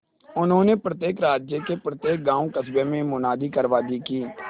उन्होंने प्रत्येक राज्य के प्रत्येक गांवकस्बों में मुनादी करवा दी कि